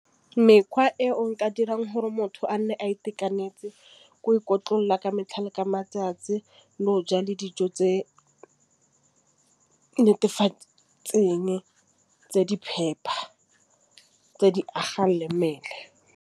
Mekgwa e o nka dirang gore motho a nne a itekanetse ko ikotlolla ka metlha le matsatsi le go ja le dijo tse netefatseng tse di phepa tse di agang le mmele.